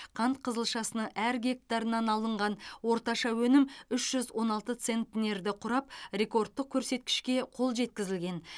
қант қызылшасының әр гектарынан алынған орташа өнім үш жүз он алты центнерді құрап рекордтық көрсеткішке қол жеткізілген